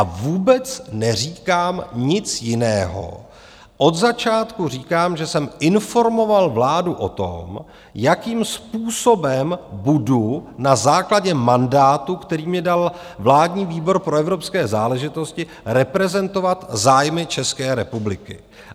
A vůbec neříkám nic jiného, od začátku říkám, že jsem informoval vládu o tom, jakým způsobem budu na základě mandátu, který mně dal vládní výbor pro evropské záležitosti, reprezentovat zájmy České republiky.